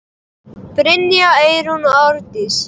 Brynja, Eyrún og Ásdís.